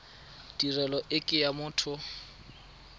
tirelo e ke ya motho